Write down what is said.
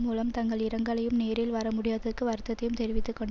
மூலம் தங்கள் இரங்கலையும் நேரில் வரமுடியாதறக் வருத்தத்தையும் தெரிவித்து கொண்ட